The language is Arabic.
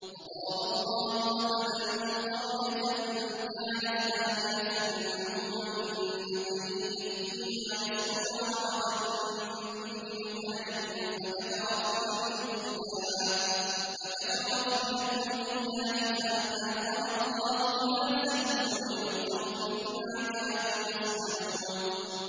وَضَرَبَ اللَّهُ مَثَلًا قَرْيَةً كَانَتْ آمِنَةً مُّطْمَئِنَّةً يَأْتِيهَا رِزْقُهَا رَغَدًا مِّن كُلِّ مَكَانٍ فَكَفَرَتْ بِأَنْعُمِ اللَّهِ فَأَذَاقَهَا اللَّهُ لِبَاسَ الْجُوعِ وَالْخَوْفِ بِمَا كَانُوا يَصْنَعُونَ